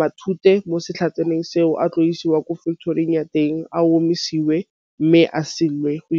matute mo setlhatsaneng seo a tla isiwa kwa factory-ing ya teng a omisiwa mme a salwe go .